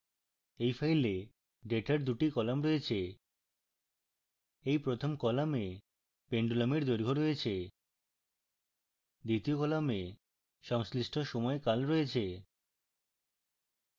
এই file ডেটার দুটি column রয়েছে এই প্রথম column pendulum দৈর্ঘ্য রয়েছে